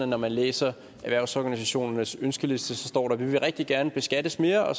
når man læser erhvervsorganisationernes ønskeliste står vi vil rigtig gerne beskattes mere og